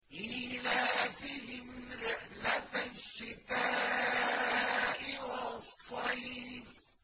إِيلَافِهِمْ رِحْلَةَ الشِّتَاءِ وَالصَّيْفِ